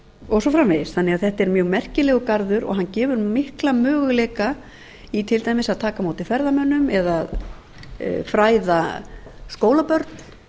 og svo framvegis þetta er því mjög merkilegur garður og hann gefur mikla möguleika í til dæmis að taka á móti ferðamönnum eða fræða skólabörn